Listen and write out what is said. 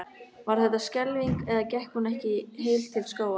Var þetta skelfing eða gekk hún ekki heil til skógar?